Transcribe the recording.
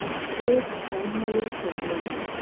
রোদ ঝলমলে সকালবেলা